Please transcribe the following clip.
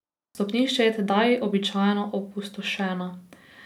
Stopnišče je tedaj običajno opustošeno.